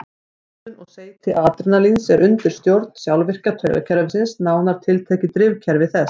Myndun og seyti adrenalíns er undir stjórn sjálfvirka taugakerfisins, nánar tiltekið drifkerfi þess.